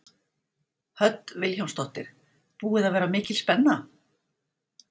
Hödd Vilhjálmsdóttir: Búið að vera mikil spenna?